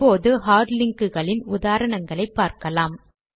இப்போது hard link களின் உதாரணங்கள் பார்க்கலாம்